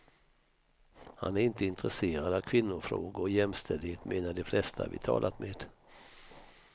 Han är inte intresserad av kvinnofrågor och jämställdhet, menar de flesta vi talat med.